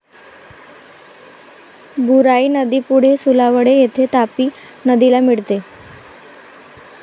बुराई नदी पुढे सुलावडे येथे तापी नदीला मिळते.